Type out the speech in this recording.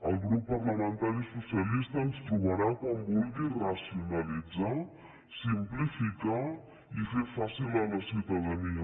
al grup parlamentari socialista ens trobarà quan vulgui racionalitzar simplificar i fer ho fàcil a la ciutadania